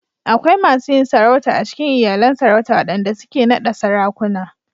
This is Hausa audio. Akwai masu yin sarautu a cikin iyalan Sarauta waɗanda suke naɗa Sarakuna.